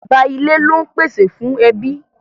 Bàbá ilé lón pèsè fún ẹbí.